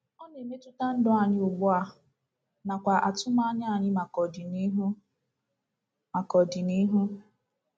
Ọ na-emetụta ndụ anyị ugbu a nakwa atụmanya anyị maka ọdịnihu. maka ọdịnihu.